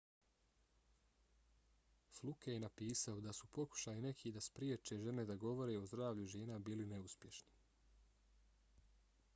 fluke je napisao da su pokušaji nekih da spriječe žene da govore o zdravlju žena bili neuspješni